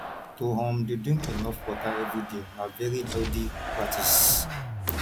to um de drink enough water everyday na very healthy practice